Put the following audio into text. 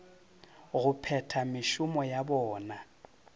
go phetha mešomo ya bona